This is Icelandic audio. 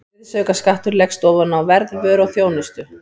Virðisaukaskattur leggst ofan á verð vöru og þjónustu.